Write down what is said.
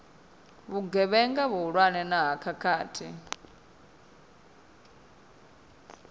vhugevhenga vhuhulwane na ha khakhathi